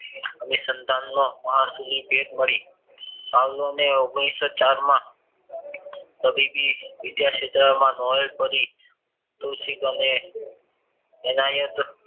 અભિસંદનનો પાવલાવને ઓગમનીસો ચારમાં તબીબી વિદ્યા ક્ષેત્ર માં નોવેલ કરી કૃષિક અને તેનાયાત